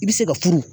I bɛ se ka furu